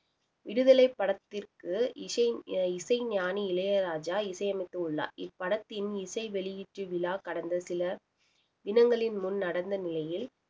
விடுதலைப் படத்திற்கு இசை~ இசைஞானி இளையராஜா இசையமைத்துள்ளார் இப்படத்தின் இசை வெளியீட்டு விழா கடந்த சில தினங்களின் முன் நடந்த நிலையில்